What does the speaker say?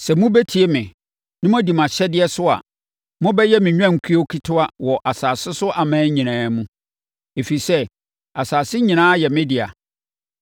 Sɛ mobɛtie me, na moadi mʼahyɛdeɛ so a, mobɛyɛ me nnwankuo ketewa wɔ asase so aman nyinaa mu, ɛfiri sɛ, asase nyinaa yɛ me dea.